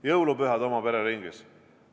Jõulupühad oma pere ringis.